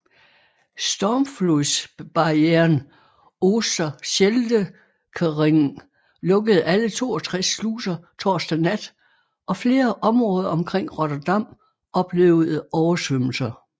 Stormflodsbarrieren Oosterscheldekering lukkede alle 62 sluser torsdag nat og flere områder omkring Rotterdam oplevede oversvømmelser